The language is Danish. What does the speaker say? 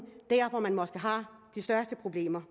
hvor man måske har de største problemer